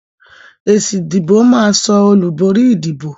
Èsì ìdìbò máa so olùborí ìdìbò